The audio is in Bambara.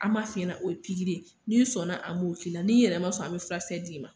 An b'a f'i ɲɛna o ye pikiiri ye, n'i sɔnna an b'o k'i la n'i yɛrɛ ma sɔn an be furakisɛ d'i ma.